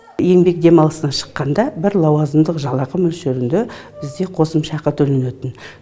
еңбек демалысына шыққанда бір лауазымдық жалақы мөлшерінде бізде қосымша ақы төленетін